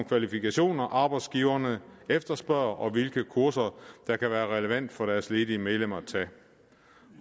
kvalifikationer arbejdsgiverne efterspørger og hvilke kurser der kan være relevant for deres ledige medlemmer